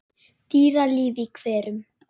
Dýralíf í hverum